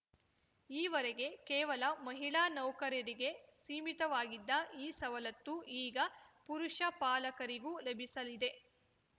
ಈವರೆಗೆ ಕೇವಲ ಮಹಿಳಾ ನೌಕರರರಿಗೆ ಸೀಮಿತವಾಗಿದ್ದ ಈ ಸವಲತ್ತು ಈಗ ಪುರುಷ ಪಾಲಕರಿಗೂ ಲಭಿಸಲಿದೆ